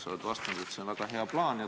Sa oled vastanud, et see on väga hea plaan.